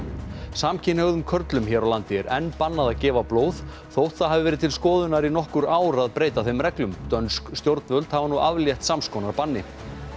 samkynhneigðum körlum hér á landi er enn bannað að gefa blóð þótt það hafi verið til skoðunar í nokkur ár í að breyta þeim reglum dönsk stjórnvöld hafa nú aflétt sams konar banni